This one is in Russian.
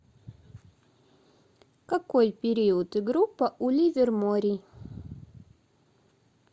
какой период и группа у ливерморий